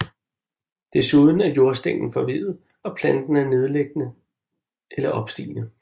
Desuden er jordstænglen forveddet og planten er nedliggende eller opstigende